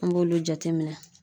An b'olu jateminɛ.